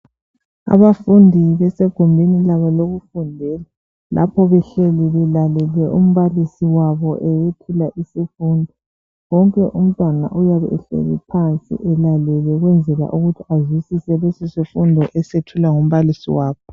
Abafundi basegumbini labo lokufundela lapho behleli belalele umbalisi wabo eyethula isifundo wonke umntwana uyabe ehleli phansi elalele ukwenzela ukuthi azwisise lesisifundo esethulwa ngumbalisi wakhe.